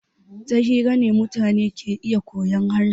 Ta hira ne mutane ke iya koyan harshe.